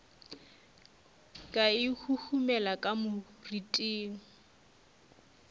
ka e huhumela ka moriting